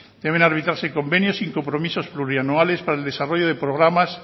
deben arbitrarse convenios sin compromisos plurianuales para el desarrollo de programas